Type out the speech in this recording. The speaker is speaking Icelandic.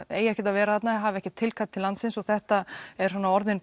eigi ekki að vera þarna hafi ekki tilkall til landsins og þetta er svona orðin